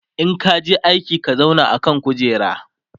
in ka je aji ka zauna a kan kujera!